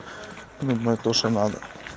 ну мы то что надо